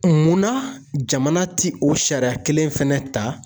Munna jamana ti o sariya kelen fɛnɛ ta